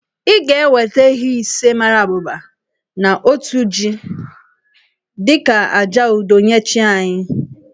I ga-eweta ehi ise mara abụba na otu jì dị ka àjà udo nye chi anyị